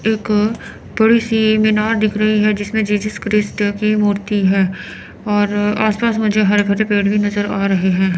एक बड़ी सी मीनार दिख रही है जिसमे जीजस क्रिस्ट की मूर्ति है और आस पास मुझे हरे भरे पेड़ भी नजर आ रहे हैं।